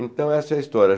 Então, essa é a história.